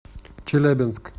челябинск